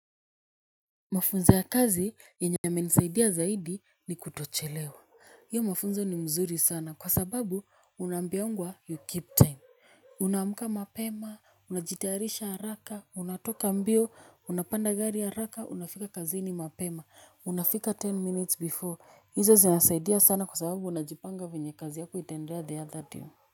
Mafunzo ya kazi yenye yamenisaidia zaidi ni kutochelewa. Hiyo mafunzo ni mzuri sana kwa sababu unaambiangwa you keep time. Unaamka mapema, unajitayarisha haraka, unatoka mbio, unapanda gari haraka, unafika kazini mapema, unafika ten minutes before. Hizo zinasaidia sana kwa sababu unajipanga vyenye kazi yako itaendelea the other day.